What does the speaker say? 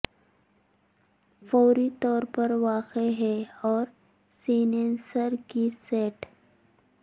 فوری طور پر واقع ہے اور سینسر کے سیٹ